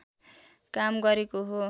काम गरेको हो